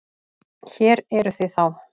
Hér eruð þið þá!